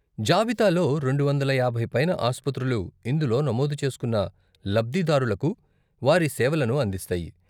జాబితాలో రెండు వందల యాభై పైన ఆస్పత్రులు ఇందులో నమోదు చేసుకున్న లబ్ధిదారులకు వారి సేవలను అందిస్తాయి.